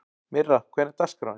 Myrra, hvernig er dagskráin?